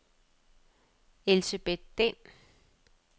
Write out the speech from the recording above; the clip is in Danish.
Elsebet Dehn